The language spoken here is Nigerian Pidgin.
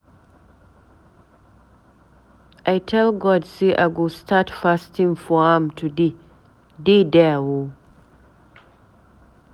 I tell God say I go start fasting for am today, dey there oo.